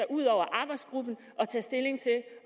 ud over arbejdsgruppen og tage stilling til